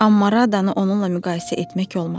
Amma Radanı onunla müqayisə etmək olmaz.